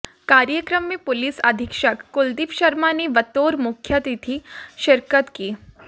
कार्यक्रम में पुलिस अधीक्षक कुलदीप शर्मा ने बतौर मुख्यातिथि शिरकत की